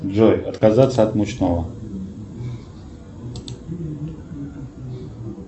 джой отказаться от мучного